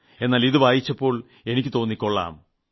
എന്നാൽ ഇത് വായിച്ചപ്പോൾ എനിക്ക് തോന്നി കൊളളാം